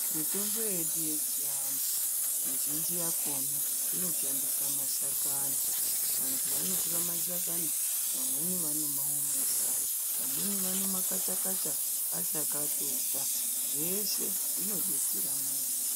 Mitombo yedu yechiantu mizhinji yakona inoshandisa mashakani vantu vanotora mashakani vamweni vanomaomesa. Vamweni vanomakacha-kacha achakatota zveshe zvinodetsera muntu.